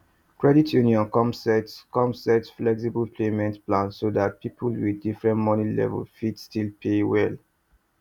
credit union come set come set flexible payment plan so that people with different money level fit still pay well